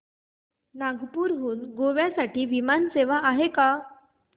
नागपूर हून गोव्या साठी विमान सेवा आहे का